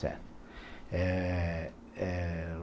Certo. Eh eh